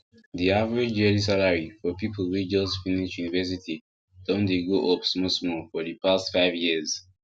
the average yearly salary for people wey just finish university don dey go up smallsmall for the past five years